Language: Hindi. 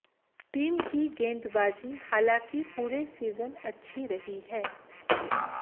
टीम की गेंदबाजी हालाकिं पूरे सीजन अच्छी रही है